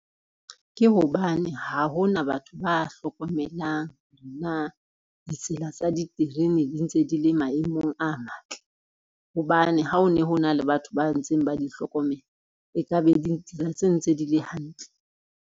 Ke hobane ha hona batho ba hlokomelang na ditsela tsa diterene di ntse di le maemong a matle, hobane ha o ne ho na le batho ba ntseng ba di hlokomela e ka be ditsela tseno ntse di le hantle.